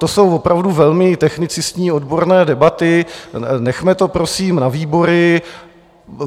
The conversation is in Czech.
To jsou opravdu velmi technicistní odborné debaty, nechme to, prosím, na výbory.